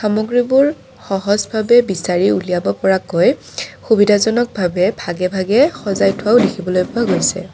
সামগ্ৰীবোৰ সহজভাৱে বিচাৰি উলিয়াব পৰাকৈ সুবিধাজনক ভাবে ভাগে ভাগে সজাই থোৱাও দেখিবলৈ পোৱা গৈছে।